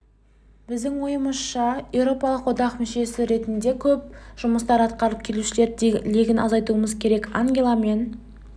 біздің ойымызша еуропалық одақ мүшесі ретінде көп жұмыстар атқарып келушілер легін азайтуымыз керек ангела мен